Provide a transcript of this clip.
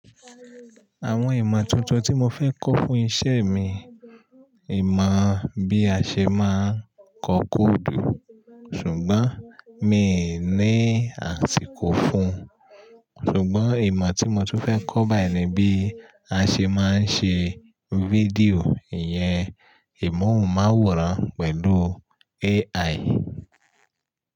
Àwọn ìmọ̀ tuntun tí mo fẹ́ kọ́ fún iṣẹ́ mi, ìmọ̀ bí a ṣe máa ń kọ kóòdù, ṣùgbọ́n miì ní àsìkò fún un. Ṣùgbọ́n ìmọ̀ tí mo tún fẹ́ kọ́ báyìí ni bí a ṣe máa ń ṣe fídíò, ìyẹn ìmóhùn-m’àwòrán pẹ̀lú AI.